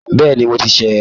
Bẹ́ẹ̀ni, mo ti ṣẹ̀ é